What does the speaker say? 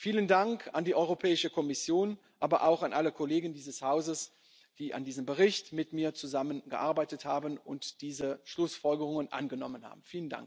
anderen Mitgliedstaat. Vielen Dank an die Europäische Kommission, aber auch an alle Kollegen dieses Hauses, die an diesem Bericht mit mir zusammengearbeitet haben und diese Schlussfolgerungen